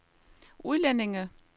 udlændinge